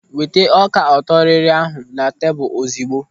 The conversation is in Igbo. Weta ọka ọtọrịrị ahụ na tebụl ozugbo.